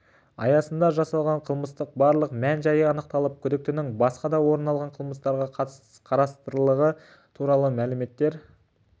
аясында жасалған қылмыстың барлық мән-жайы анықталып күдіктінің басқа да орын алған қылмыстарға қатыстылығы туралы мәліметтер